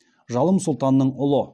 жалым сұлтанның ұлы